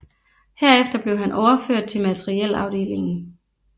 Herefter blev han overført til materiel afdelingen